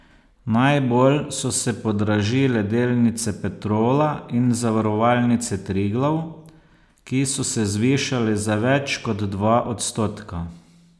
Najbolj so se podražile delnice Petrola in Zavarovalnice Triglav, ki so se zvišale za več kot dva odstotka.